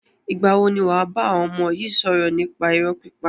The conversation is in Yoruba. Ìgbà wo ni wàá bá àwọn ọmọ yi sọ̀rọ̀ nípa irọ́ pípa?